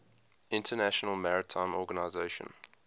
international maritime organization